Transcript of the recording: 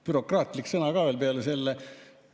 Bürokraatlik sõna ka veel peale selle.